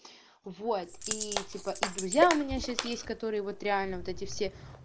вот и типа и друзья у меня сейчас есть которые вот реально вот эти все